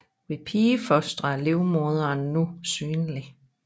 Ved pigefostre er livmoderen nu synlig